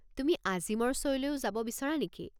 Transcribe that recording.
তুমি আজিমৰ শ্ব'লৈও যাব বিচৰা নেকি?